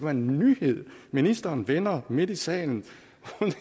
en nyhed ministeren vender midt i salen